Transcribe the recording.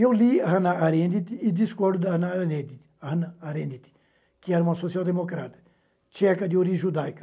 Eu li Hannah Arendt e discordo da Hannah Arendt, que era uma social-democrata, tcheca de origem judaica.